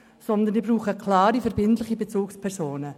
Vielmehr brauchen sie klare, verbindliche Bezugspersonen.